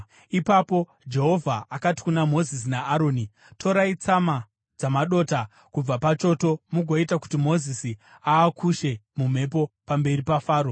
Ipapo Jehovha akati kuna Mozisi naAroni, “Torai tsama dzamadota kubva pachoto mugoita kuti Mozisi aakushe mumhepo pamberi paFaro.